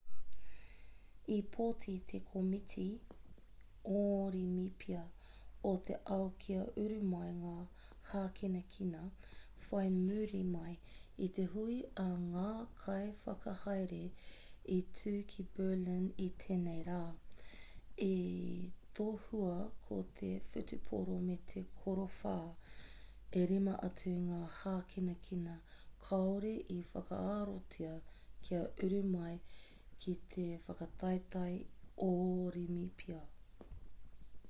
i pōti te komiti orimipia o te ao kia uru mai ngā hākinakina whai muri mai i te hui a ngā kaiwhakahaere i tū ki berlin i tēnei rā i tohua ko te whutupōro me te korowhā e rima atu ngā hākinakina kāore i whakaarotia kia uru mai ki te whakataetae orimipia